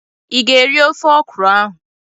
Ị ga-eri ofe ọkwuru ahụ?